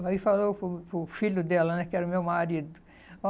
Aí falou para o para o filho dela, né, que era o meu marido.